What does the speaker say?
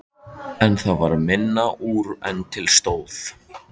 En það varð minna úr en til stóð.